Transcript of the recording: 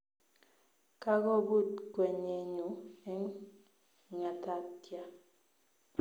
Kagobut kwenyenyu eng ngatatya